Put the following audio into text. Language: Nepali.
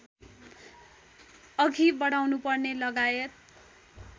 अघि बढाउनुपर्ने लगायत